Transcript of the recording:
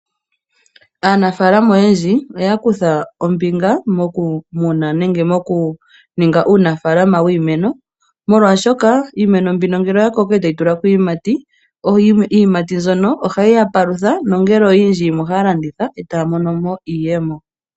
Aanafalama oyendji oya kutha ombinga mokumuna nenge mokuninga uunafalama wiimeno, molwashoka iimeno mbino ngele oya koko e tayi tulako iiyimati, iiyimati mbyono ohaye yi ya palutha. Nongele oyindji ohaye yi landitha e taya mono mo iiyemo.